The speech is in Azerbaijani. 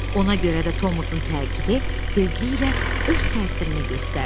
Ona görə də Tomusun təkidi tezliklə öz təsirini göstərdi.